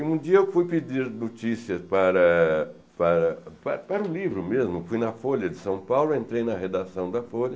E um dia eu fui pedir notícias para para pa para um livro mesmo, fui na Folha de São Paulo, entrei na redação da Folha,